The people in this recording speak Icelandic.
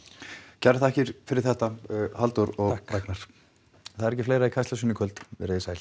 kærar þakkir fyrir þetta Halldór og Ragnar það er ekki fleira í Kastljósinu í kvöld verið þið sæl